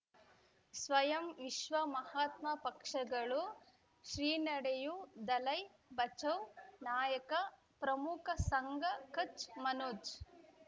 ಸ್ವಯಂ ವಿಶ್ವ ಮಹಾತ್ಮ ಪಕ್ಷಗಳು ಶ್ರೀ ನಡೆಯೂ ದಲೈ ಬಚೌ ನಾಯಕ ಪ್ರಮುಖ ಸಂಘ ಕಚ್ ಮನೋಜ್